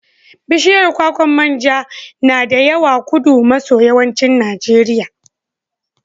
Bishiyar kwakwar man ja na da yawa Kudu maso yammancin Najeriya.